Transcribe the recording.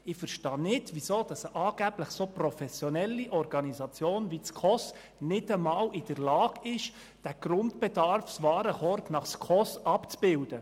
Ich verstehe nicht, weshalb eine angeblich so professionelle Organisation wie die SKOS nicht einmal in der Lage ist, den Grundbedarfswarenkorb nach SKOS abzubilden.